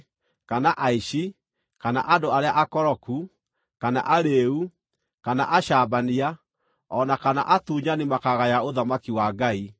kana aici, kana andũ arĩa akoroku, kana arĩĩu, kana acambania, o na kana atunyani makaagaya ũthamaki wa Ngai.